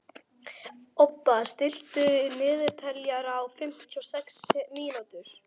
Obba, stilltu niðurteljara á fimmtíu og sex mínútur.